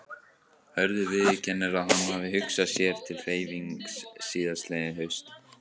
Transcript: Hörður viðurkennir að hann hafi hugsað sér til hreyfings síðastliðið haust.